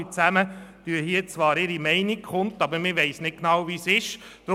Zwar tun hier alle ihre Meinung kund, aber man weiss nicht genau, wie der Sachverhalt ist.